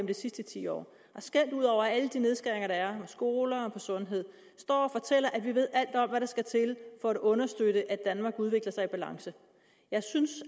de sidste ti år skælder ud over alle de nedskæringer der er skoler og på sundhed står og fortæller at man ved alt om hvad der skal til for at understøtte at danmark udvikler sig i balance jeg synes